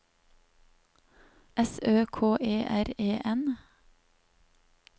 S Ø K E R E N